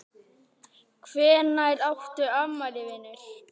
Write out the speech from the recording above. Hvenær áttu afmæli vinur?